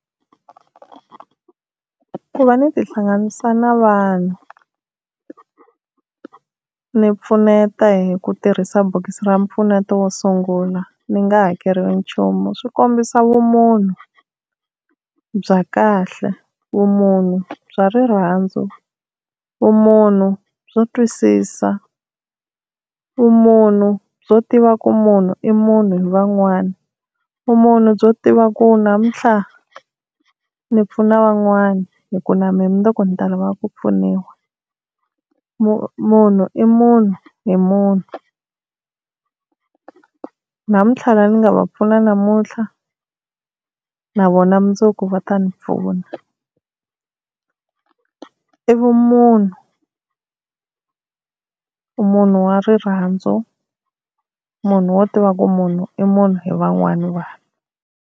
Ku va ni tihlanganisa na vanhu ni pfuneta hi ku tirhisa bokisi ra mpfuneto wo sungula ni nga hakeriwi nchumu swi kombisa vumunhu bya kahle, vumunhu bya rirhandzu, vumunhu byo twisisa, vumunhu byo tiva ku munhu i munhu hi van'wana, vumunhu byo tiva ku namuntlha ni pfuna van'wana, hi ku na mina mundzuku ni ta lava ku pfuniwa. Munhu i munhu hi munhu, namuntlha lava ni nga va pfuna namuntlha na vona mundzuku va ta ni pfuna, i vumunhu munhu wa rirhandzu, munhu wo tiva ku munhu i munhu hi van'wana vanhu.